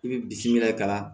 I bɛ bisimila ka na